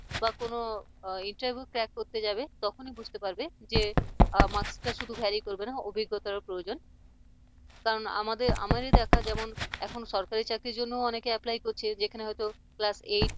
বা কোন interview clark করতে যাবে তখনই বুঝতে পারবে যে master শুধু ভেরি করবেনা অভিজ্ঞতার ও প্রয়োজন কারণ আমাদের আমারই দেখা যেমন সরকারি চাকরির জন্য অনেক apply করছে যেখানে হয়তো class eight